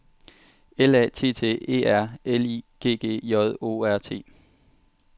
L A T T E R L I G G J O R T